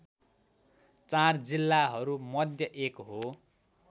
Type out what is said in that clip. ४ जिल्लाहरू मध्य एक हो